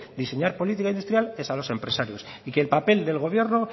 diseñar política industrial es a los empresarios y que el papel del gobierno